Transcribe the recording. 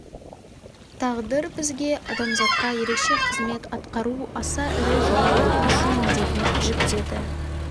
тағдыр бізге адамзатқа ерекше қызмет атқару аса ірі жаңалық ашу міндетін жүктеді